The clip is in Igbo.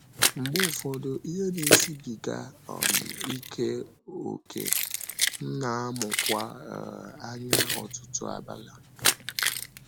Mgbe ụfọdụ, ihe na-esịbìgà um ike ókè, m na-amụkwa um anya ọtụtụ abalị.